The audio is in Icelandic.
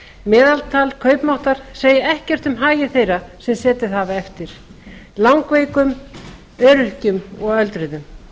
meðaltal kaupmáttar segir ekkert um hagi þeirra sem setið hafa eftir langveikra öryrkja og aldraðra